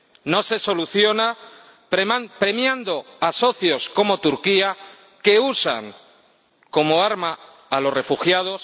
No se soluciona premiando a socios, como Turquía, que usan como arma a los refugiados